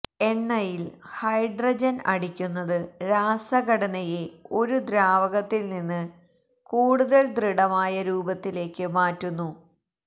എണ്ണയിൽ ഹൈഡ്രജൻ അടിക്കുന്നത് രാസഘടനയെ ഒരു ദ്രാവകത്തിൽ നിന്ന് കൂടുതൽ ദൃഢമായ രൂപത്തിലേക്ക് മാറ്റുന്നു